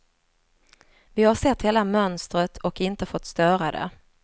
Vi har sett hela mönstret och inte fått störa det.